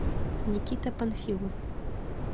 никита панфилов